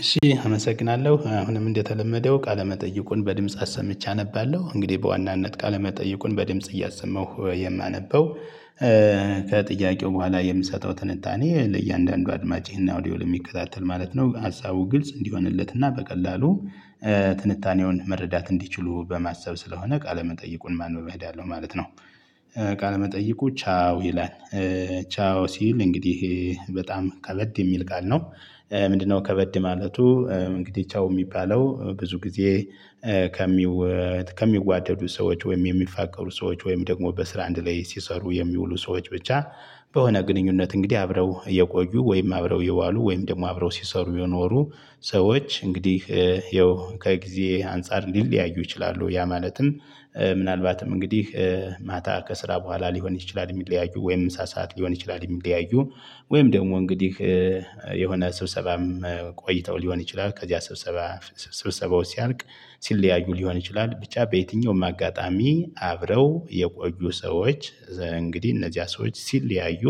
እሺ አመሰግናለሁ አሁንም እንደተለመደው ቃለመጠይቁን በድምጽ አሰምቼ አነባለሁ እንግዲህ በዋናነት ቃለመጠይቁን በድምጽ እያሰማሁ የማነበው ከጥያቄው በኋላ የምሰጠው ትንታኔ ለእያንዳንዱ አድማጭና አውዲዮ ለሚከታተል ማለት ነው። ሀሳቡ ግልጽ እንዲሆንለት እና በቀላሉ። ትንታኔውን መረዳት እንዲችሉ በማሰብ ስለሆነ ቃለ መጠይቁን በማንበብ እሄዳለው ማለት ነው። ቃለመጠየቁ ቻው ይላል ቻው ሲል እንግዲህ በጣም ከበድ የሚል ጋር ነው። ምንድነው ከበድ ማለቱ? እንግዲህ ቻው የሚባለው ብዙ ጊዜ። ከሚዋደዱ ሰዎች ወይም የሚፋቀሩ ሰዎች ወይም ደግሞ በስራ አንድ ላይ ሲሰሩ የሚውሉ ሰዎች ብቻ። በሆነ ግንኙነት እንግዲህ አብረው የቆዩ ወይም አብረው የዋሉ ወይም ደግሞ አብረው ሲሰሩ የኖሩ። ሰዎች እንግዲህ ያው ከጊዜ አንፃር ሊለያዩ ይችላሉ ያ ማለትም። ምናልባትም እንግዲህ ማታ ከስራ በኋላ ሊሆን ይችላል የሚለያዩ ወይም ምሳ ሰዓት ሊሆን ይችላል የሚለያዩ። ወይም ደግሞ እንግዲህ የሆነ ስብሰባም ቆይተው ሊሆን ይችላል ከዚያ ስብሰባ ስብሰባው ሲያልቅ ሲለያዩ ሊሆን ይችላል። ብቻ በየትኛውም አጋጣሚ አብረው የቆዩ ሰዎች። እንግዲህ እነዚያ ሰዎች ሲልለያዩ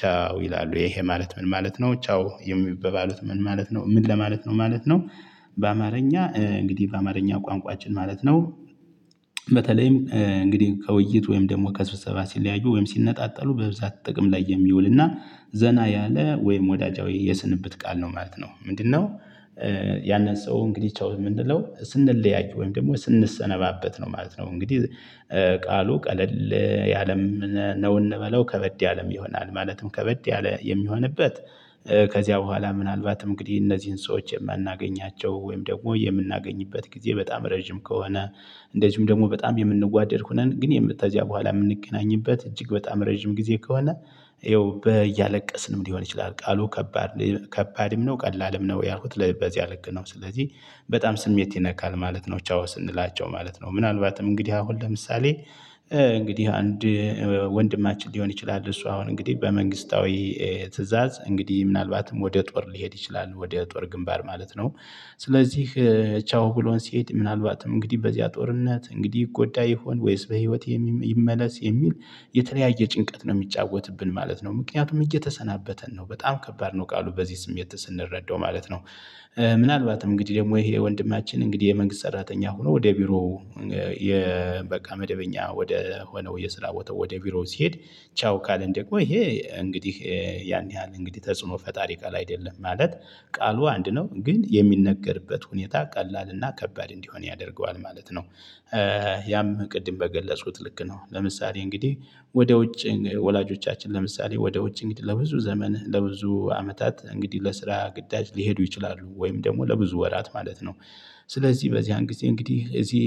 ቻው ይላሉ። ይሄ ማለት ምን ማለት ነው? ቻው የሚባባሉት ምን ማለት ነው? ምን ለማለት ነው ማለት ነው። በአማርኛ እንግዲህ በአማርኛ ቋንቋችን ማለት ነው። በተለይም እንግዲህ ከውይይት ወይም ደግሞ ከስብሰባ ሲለያዩ ወይም ሲነጣጠሉ በብዛት ጥቅም ላይ የሚውልና ዘና ያለ ወይም ወዳጃዊ የስንብት ቃል ነው ማለት ነው። ምንድነው? ያንን ሰው እንግዲህ ቻው የምንለው ስንለያይ ወይም ደግሞ ስንሰነባበት ነው ማለት ነው። እንግዲህ ቃሉ ቀለል ያለም ነው እንበለው ከበድ ያለም ይሆናል ማለትም ከበድ ያለ የሚሆንበት። ከዚያ በኋላ ምናልባት እንግዲህ እነዚህን ሰዎች የማናገኛቸው ወይም ደግሞ የምናገኝበት ጊዜ በጣም ረጅም ከሆነ። እንደዚሁም ደግሞ በጣም የምንዋደድ ሆነን ግን ተዚያ በኋላ የምንገናኝበት እጅግ በጣም ረጅም ጊዜ ከሆነ። ይኸው በያለቀስንም ሊሆን ይችላል። ቃሉ ከባድም ነው ቀላልም ነው ያልኩት በዚያ ልክ ነው። ስለዚህ በጣም ስሜት ይነካል ማለት ነው። ቻው ስንላቸው ማለት ነው ምናልባትም እንግዲህ አሁን ለምሳሌ እንግዲህ አንድ ወንድማችን ሊሆን ይችላል። እሱ አሁን እንግዲህ በመንግስታዊ ትእዛዝ እንግዲህ ምናልባትም ወደ ጦር ሊሄድ ይችላል ወደ ጦር ግንባር ማለት ነው። ስለዚህ ቻው ብሎን ሲሄድ ምናልባትም እንግዲህ በዚያ ጦርነት እንግዲህ ይጎዳ ይሆን ወይስ በህይወት ይመለስ የሚል የተለያየ ጭንቀት ነው የሚጫወትብን ማለት ነው። ምክንያቱም እየተሰናበተን ነው በጣም ከባድ ነው። ቃሉ በዚህ ስሜት ስንረዳው ማለት ነው። ምናልባትም እንግዲህ ደግሞ ይሄ ወንድማችን እንግዲህ የመንግስት ሰራተኛ ሆኖ ወደ ቢሮ የበቃ መደበኛ ወደ ሆነው የስራ ቦታው ወደ ቢሮ ሲሄድ ቻው ካለን ደግሞ ይሄ እንግዲህ ያን ያህል እንግዲህ ተጽዕኖ ፈጣሪ ቃል አይደለም ማለት ቃሉ አንድ ነው ግን የሚነገርበት ሁኔታ ቀላልና ከባድ እንዲሆን ያደርገዋል ማለት ነው። ያም ቅድም በገለጽኩት ልክ ነው ለምሳሌ እንግዲህ ወደ ውጭ ወላጆቻችን ለምሳሌ ወደ ውጭ እንግዲህ ለብዙ ዘመን ለብዙ አመታት እንግዲህ ለስራ ግዳጅ ሊሄዱ ይችላሉ። ወይም ደግሞ ለብዙ ወራት ማለት ነው። ስለዚህ በዚያን ጊዜ እንግዲህ እዚህ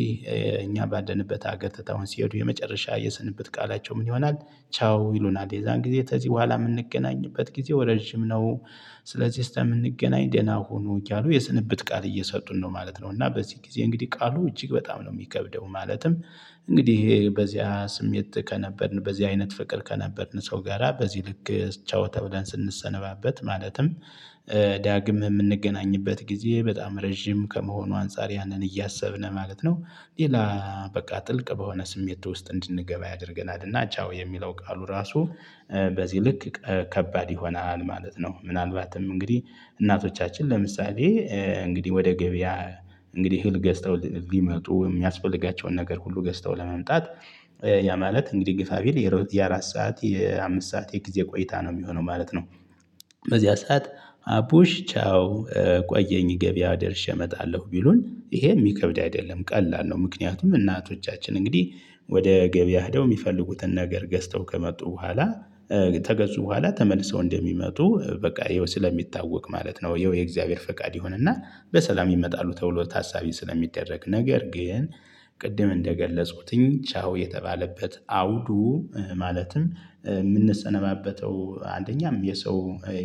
እኛ ባለነበት ሀገር ትተውን ሲሄዱ የመጨረሻ የስንበት ቃላቸው ምን ይሆናል? ቻው ይሉናል የዛን ጊዜ ተዚህ በኋላ የምንገናኝበት ጊዜው ረጅም ነው። ስለዚህ እስከምንገናኝ ደህና ሁኑ እያሉ የስንብት ቃል እየሰጡን ነው ማለት ነው። እና በዚህ ጊዜ እንግዲህ ቃሉ እጅግ በጣም ነው የሚከብደው። ማለትም እንግዲህ ይሄ በዚያ ስሜት ከነበርን በዚያ አይነት ፍቅር ከነበርን ሰው ጋራ በዚህ ልክ ቻው ተብለን ስንሰነባበት ማለትም ዳግም የምንገናኝበት ጊዜ በጣም ረጅም ከመሆኑ አንፃር ያንን እያሰብን ማለት ነው። ሌላ በቃ ጥልቅ በሆነ ስሜት ውስጥ እንድንገባ ያደርገናል እና ቻው የሚለው ቃሉ ራሱ በዚህ ልክ ከባድ ይሆናል ማለት ነው። ምናልባትም እንግዲህ እናቶቻችን ለምሳሌ እንግዲህ ወደ ገበያ እንግዲህ እህል ገዝተው ሊመጡ የሚያስፈልጋቸውን ነገር ሁሉ ገዝተው ለመምጣት ያ ማለት እንግዲህ ግፋቢል የአራት ሰዓት የአምስት ሰዓት የጊዜ ቆይታ ነው የሚሆነው ማለት ነው። በዚህ ሰዓት አቡሽ ቻው ቆየኝ ገበያ ደርሼ እመጣለሁ ቢሉን ይሄ የሚከብድ አይደለም ቀላል ነው። ምክንያቱም እናቶቻችን እንግዲህ ወደ ገበያ ሄደው የሚፈልጉትን ነገር ገዝተው ከመጡ በኋላ ተገዙ በኋላ ተመልሰው እንደሚመጡ በቃ ይኸው ስለሚታወቅ ማለት ነው። ይኸው የእግዚአብሔር ፈቃድ ይሆንና በሰላም ይመጣሉ ተብሎ ታሳቢ ስለሚደረግ ነገር ግን ቅድም እንደገለጽኩትኝ ቻው የተባለበት አውዱ። ማለትም የምንሰነባበተው አንደኛም የሰው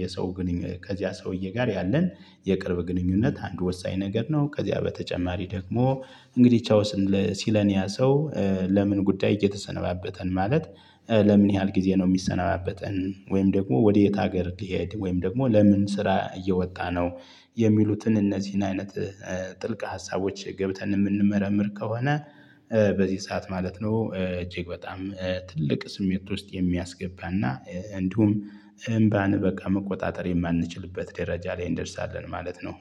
የሰው ግንኙነት ከዚያ ሰውዬ ጋር ያለን የቅርብ ግንኙነት አንድ ወሳኝ ነገር ነው። ከዚያ በተጨማሪ ደግሞ እንግዲህ ቻው ሲለን ያ ሰው። ለምን ጉዳይ እየተሰነባበተን ማለት ለምን ያህል ጊዜ ነው የሚሰነባበተን? ወይም ደግሞ ወደ የት ሀገር ሊሄድ ወይም ደግሞ ለምን ስራ እየወጣ ነው? የሚሉትን እነዚህን አይነት ጥልቅ ሀሳቦች ገብተን የምንመረምር ከሆነ። በዚህ ሰዓት ማለት ነው እጅግ በጣም ትልቅ ስሜት ውስጥ የሚያስገባና እንዲሁም እምባን በቃ መቆጣጠር የማንችልበት ደረጃ ላይ እንደርሳለን። ማለት ነው።